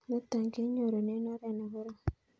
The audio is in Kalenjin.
Nitok ko kinyorune oret ne korom